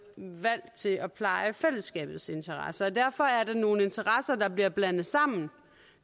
valgt til at pleje fællesskabets interesser derfor er det nogle interesser der bliver blandet sammen